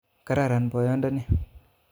Kararan boyodoni